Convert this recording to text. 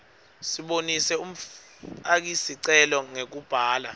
sibonise umfakisicelo ngekubhala